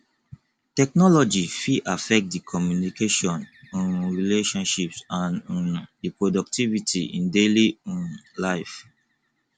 technology fit affect di communication um relationships and um di productivity in daily um life